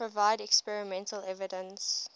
provide experimental evidence